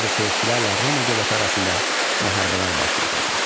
Ona görə də Selevkilərlə Roma dövləti arasında müharibələr baş verirdi.